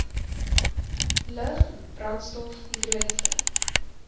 lug brandstof hidroliese